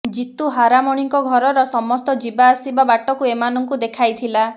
ଜିତୁ ହାରାମଣୀଙ୍କ ଘରର ସମସ୍ତ ଯିବା ଆସିବା ବାଟକୁ ଏମାନଙ୍କୁ ଦେଖାଇଥିଲା